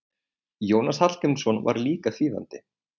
Jónas Hallgrímsson var líka þýðandi.